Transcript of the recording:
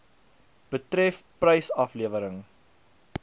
betref prys aflewering